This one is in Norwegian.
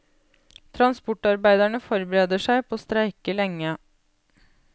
Transportarbeiderne forbereder seg på å streike lenge.